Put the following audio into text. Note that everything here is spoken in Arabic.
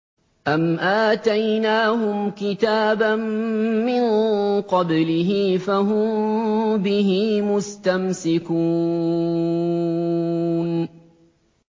أَمْ آتَيْنَاهُمْ كِتَابًا مِّن قَبْلِهِ فَهُم بِهِ مُسْتَمْسِكُونَ